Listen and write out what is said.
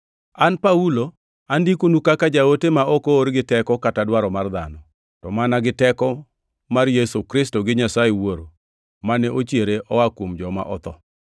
An Paulo, andikonu kaka jaote ma ok oor gi teko kata dwaro mar dhano, to mana gi teko mar Yesu Kristo gi Nyasaye Wuora mane ochiere oa kuom joma otho.